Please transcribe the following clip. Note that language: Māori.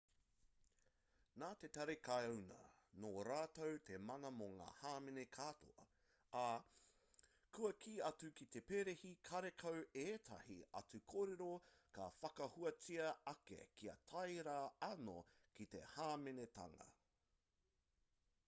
nā te tari karauna nō rātou te mana mō ngā hāmene katoa ā kua kī atu ki te perehi karekau ētahi atu kōrero ka whakahuatia ake kia tae rā anō ki te hāmenetanga